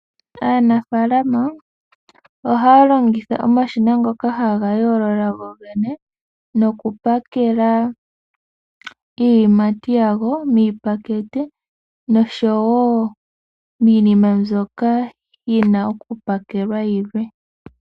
Aanafalama ohaya longitha omashina ngoka haga yoolola gogene nokupakela iiyimati yago miipakete noshowo miinima mbyoka yina okupakelwa yilwe.